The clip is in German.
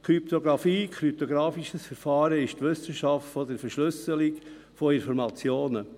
Kryptografie, kryptografisches Verfahren ist die Wissenschaft der Verschlüsselung von Informationen.